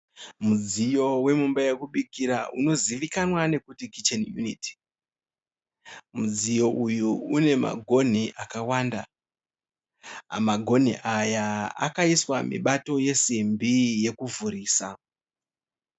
Mudziyo wemumba yekubikira unozivikanwa nekuti kicheni yuniti . Mudziyo uyu une magonhi akawanda magonhi aya akaiswa mibato yesimbi yekuvhurisa